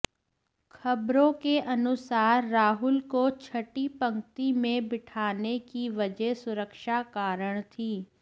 खबरों के अनुसार राहुल को छठी पंक्ति में बिठाने की वजह सुरक्षा कारण थी